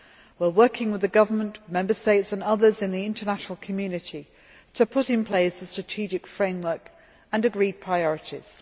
We are working with the government, Member States and others in the international community to put in place a strategic framework and agreed priorities.